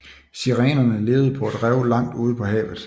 Sirenerne levede på et rev langt ude på havet